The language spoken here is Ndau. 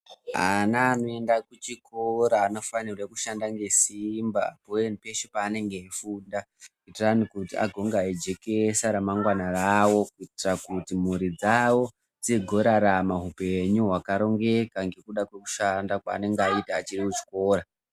Ana anoenda kuchikora anofanira kushanda ngesimba peshe paanenge eifunda kuitira kuti vazojekesa ramangwana ravo kuitira kuti mhuri dzawo dzizorarama upenyu hwakarongeka ngekuda kwekushanda kwaanenge aita achiri kuchikora.